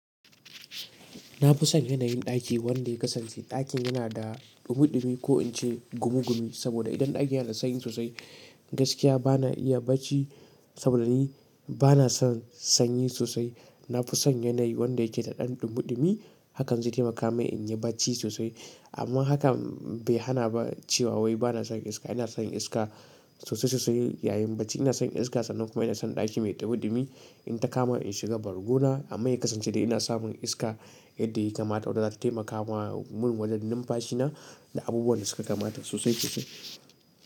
Nafi son yanayin ɗaki wanda ya kasance ɗakin yana da ɗumi-ɗumi ko ince gumi-gumi saboda idan ɗakin yana sanyi sosai, gaskiya bana iya bacci saboda ni bana son sanyi sosai. Nafi son yanayi wanda yake da ɗan ɗumi-ɗumi, hakan zai taimaka min inyi bacci sosai. Amma hakan bai hana ba cewa wai bana son iska. Inason iska sosai sosai yayin bacci. Inason iska sannan kuma inason ɗaki mai ɗumi-ɗumi. In ta kama in shiga bargona amma ya kasance dai ina samun iska yadda yakamata wadda zata taimaka mun wajen numfashi na da abubuwan da suka kamata sosai sosai.